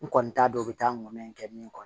N kɔni t'a dɔn u bɛ taa ŋɛ kɛ min kɔnɔ